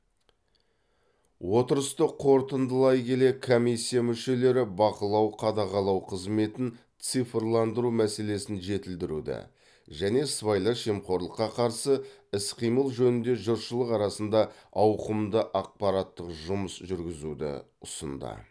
отырысты қорытындылай келе комиссия мүшелері бақылау қадағалау қызметін цифрландыру мәселесін жетілдіруді және сыбайлас жемқорлыққа қарсы іс қимыл жөнінде жұртшылық арасында ауқымды ақпараттық жұмыс жүргізуді ұсынды